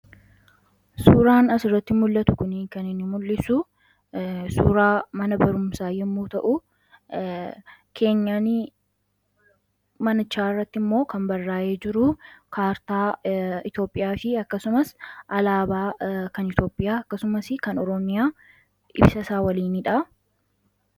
suuraan asirratti mul'atu kuni kan inni mul'isu suuraa mana barumsaa yommuu ta'u keenyaanii manichaa irratti immoo kan barraa'ee jiruu kaartaa Itoopiyaa fi akkasumas alaabaa kan iitoopiyaa akkasumas kan oromiyaa ibsa isaa waliiniidha.